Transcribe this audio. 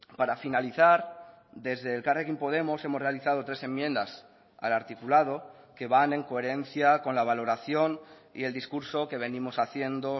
para finalizar desde elkarrekin podemos hemos realizado tres enmiendas al articulado que van en coherencia con la valoración y el discurso que venimos haciendo